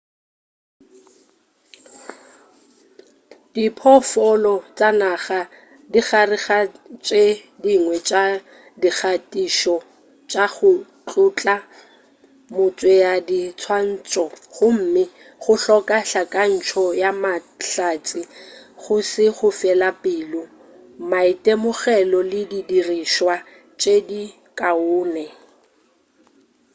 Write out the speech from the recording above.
diphoofolo tša naga di gare ga tše dingwe tša dikgatišo tša go tlhotla motšeadiswantšho gomme go hloka hlakantšo ya mahlatse go se fele pelo maitemogelo le di dirišwa tše di kaone